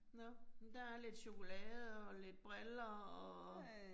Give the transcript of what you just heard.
Nåh, men der er lidt chokolade og lidt briller og